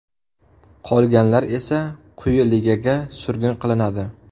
Qolganlar esa quyi ligaga surgun qilinadi.